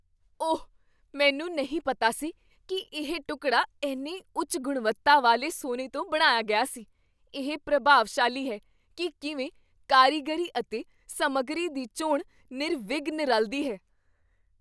ਓਹ, ਮੈਨੂੰ ਨਹੀਂ ਪਤਾ ਸੀ ਕੀ ਇਹ ਟੁਕੜਾ ਇੰਨੇ ਉੱਚ ਗੁਣਵੱਤਾ ਵਾਲੇ ਸੋਨੇ ਤੋਂ ਬਣਾਇਆ ਗਿਆ ਸੀ। ਇਹ ਪ੍ਰਭਾਵਸ਼ਾਲੀ ਹੈ ਕੀ ਕਿਵੇਂ ਕਾਰੀਗਰੀ ਅਤੇ ਸਮੱਗਰੀ ਦੀ ਚੋਣ ਨਿਰਵਿਘਨ ਰਲਦੀ ਹੈ।